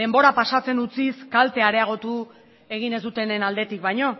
denbora pasatzen utziz kaltea areagotu egin ez dutenen aldetik baino